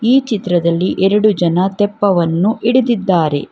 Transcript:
ಈ ಚಿತ್ರದಲ್ಲಿ ಎರಡು ಜನ ತೆಪ್ಪವನ್ನು ಹಿಡಿದಿದ್ದಾರೆ.